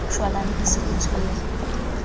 shwalane e se e tshwere